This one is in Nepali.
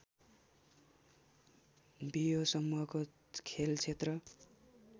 बियो समूहको खेलक्षेत्र